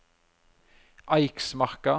Eiksmarka